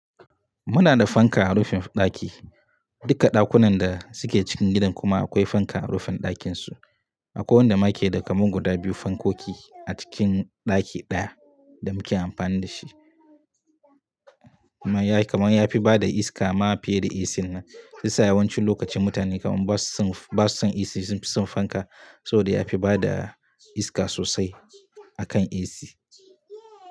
Muna da fanka a rufin ɗaki. Duka ɗakunan da suke cikin gidan kuma akwai fanka a rufin ɗakin su. Akwai wanda make da kaman guda biyu fankoki a cikin ɗaki ɗaya da muke amfani da shi. Kaman yafi bada iska ma fiye da AC. Sa yawancin lokaci mutane kaman basu son AC sunfi son fanka. Saboda yafi bada iska sosai akan AC.